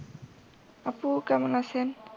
আপু কেমন আছেন?